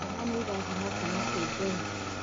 Ciana nĩ irathimo kuuma kwi Ngai.